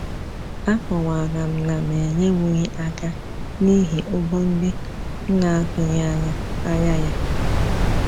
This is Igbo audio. A kọwara m na m enyewughi aka n'ihi ụgwọ ndị m atughi anya anya ya